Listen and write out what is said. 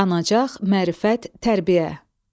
Qanacaq, mərifət, tərbiyə.